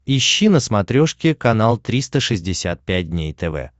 ищи на смотрешке канал триста шестьдесят пять дней тв